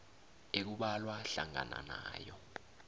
ekubalwa hlangana nawo